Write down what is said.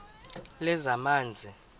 lezamanzi